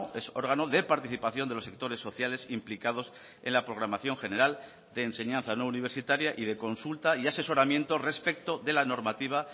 es órgano de participación de los sectores sociales implicados en la programación general de enseñanza no universitaria y de consulta y asesoramiento respecto de la normativa